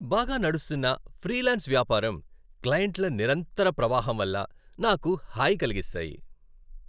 బాగా నడుస్తున్న ఫ్రీలాన్స్ వ్యాపారం, క్లయింట్ల నిరంతర ప్రవాహం వల్ల నాకు హాయి కలిగిస్తాయి.